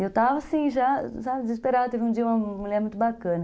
E eu estava assim já, desesperada, teve um dia uma mulher muito bacana.